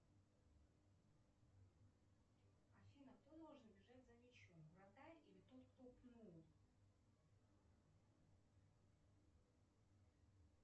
афина кто должен бежать за мячом вратарь или тот кто пнул